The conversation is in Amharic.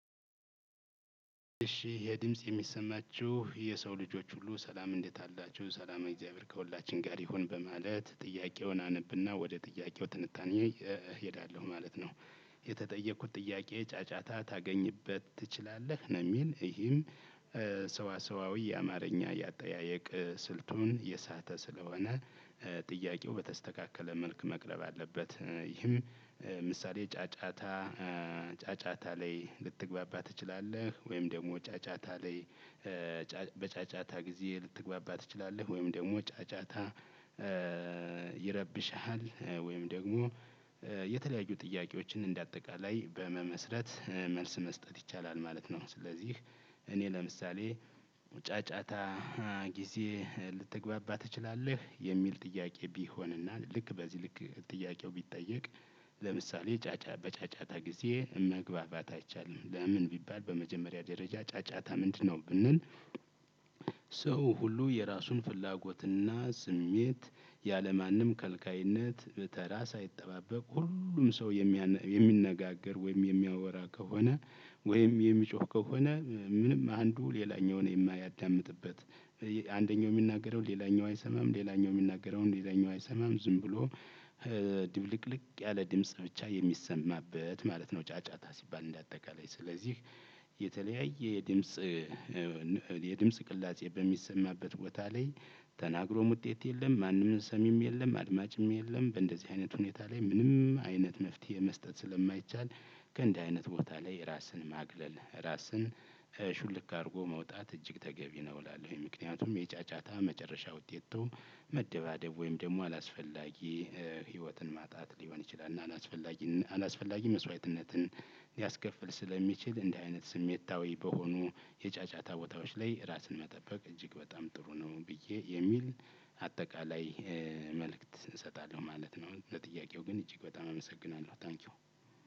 እሺ ይሄ ድምጽ የሚሰማችሁ የሰው ልጆች ሁሉ ሰላም እንዴት አላችሁ ሰላማዊ እግዚአብሔር ከሁላችን ጋር ይሁን በማለት ጥያቄውን አነብና ወደ ጥያቄው ትንታኔ እሄዳለሁ ማለት ነው። የተጠየኩት ጥያቄ ጫጫታ ታገኝበት ትችላለህ? ነው የሚል ይህም ሰዋሰዋዊ አማርኛ የአጠያየቅ ስልቱን የሳተ ስለሆነ ጥያቄው በተስተካከለ መልክ መቅረብ አለበት። ይህም ምሳሌ ጫጫታ ጫጫታ ላይ ልትግባባ ትችላለህ? ወይም ደግሞ ጫጫታ ላይ በጫጫታ ጊዜ ልትግባባ ትችላለህ? ወይም ደግሞ ጫጫታ ይረብሽሃል? ወይም ደግሞ የተለያዩ ጥያቄዎችን እንደ አጠቃላይ በመመስረት መልስ መስጠት ይቻላል ማለት ነው። ስለዚህ እኔ ለምሳሌ ጫጫታ ጊዜ ልትግባባ ትችላለህ? የሚል ጥያቄ ቢሆንና ልክ በዚህ ልክ ጥያቄው ቢጠየቅ ለምሳሌ በጫጫታ ጊዜ መግባባት አይቻልም። ለምን ቢባል በመጀመሪያ ደረጃ ጫጫታ ምንድነው? ብንል። ሰው ሁሉ የራሱን ፍላጎትና ስሜት ያለማንም ከልካይነት በተራ ሳይጠባበቅ ሁሉም ሰው የሚነጋገር ወይም የሚያወራ ከሆነ ወይም የሚጮህ ከሆነ ምንም አንዱ ሌላኛውን የማያዳምጥበት አንደኛው የሚናገረውን ሌላኛው አይሰማም ሌላኛው የሚናገረውን ሌላኛው አይሰማም ዝም ብሎ ድብልቅልቅ ያለ ድምጽ ብቻ የሚሰማበት ማለት ነው። ጫጫታ ሲባል እንደአጠቃላይ ስለዚህ የተለያየ የድምጽ የድምጽ ቅላፄ በሚሰማበት ቦታ ላይ ተናግሮም ውጤት የለም ማንም ሰሚም የለም አድማጭም የለም በንደዚህ አይነት ሁኔታ ምንም አይነት መፍትሄ መስጠት ስለማይቻል። ከንዲህ አይነት ቦታ ላይ ራስን ማግለል ራስን ሹልክ አርጎ መውጣት እጅግ ተገቢ ነው እላለሁኝ። ምክንያቱም የጫጫታ መጨረሻ ውጤቱ መደባደብ ወይም ደግሞ አላስፈላጊ ህይወትን ማጣት ሊሆን ይችላል። እና አላስፈላጊ አላስፈላጊ መስዋዕትነትን ሊያስከፍል ስለሚችል እንደዚህ አይነት ስሜታዊ በሆኑ የጫጫታ ቦታዎች ላይ ራስን መጠበቅ እጅግ በጣም ጥሩ ነው ብዬ የሚል አጠቃላይ መልእክት እሰጣለሁ ማለት ነው። ለጥያቄው ግን እጅግ በጣም አመሰግናለሁ ታንኪው።